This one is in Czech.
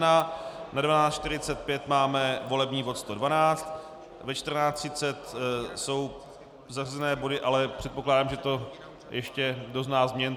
Ve 12.45 máme volební bod 112, ve 14.30 jsou zařazené body, ale předpokládám, že to ještě dozná změn.